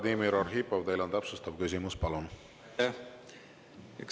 Vladimir Arhipov, teil on täpsustav küsimus, palun!